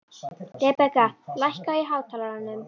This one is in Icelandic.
Rebekka, lækkaðu í hátalaranum.